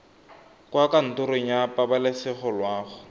kwa kantorong ya pabalesego loago